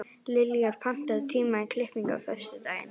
Liljar, pantaðu tíma í klippingu á föstudaginn.